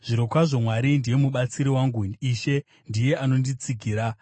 Zvirokwazvo Mwari ndiye mubatsiri wangu; ishe ndiye anonditsigira.